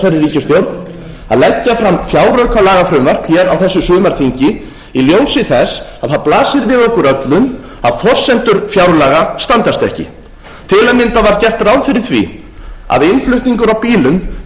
að leggja fram fjáraukalagafrumvarp hér á þessu sumarþingi í ljósi þess að það blasir við okkur öllum að forsendur fjárlaga standast ekki til að mynda var gert ráð fyrir því að innflutningur á bílum